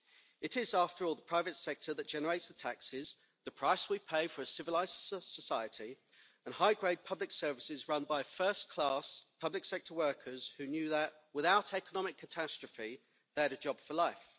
It is, after all, the private sector that generates the taxes, the price we pay for a civilised society, and high grade public services run by first class public sector workers who knew that, barring economic catastrophe, they had a job for life.